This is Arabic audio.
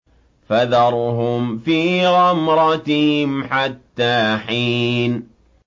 فَذَرْهُمْ فِي غَمْرَتِهِمْ حَتَّىٰ حِينٍ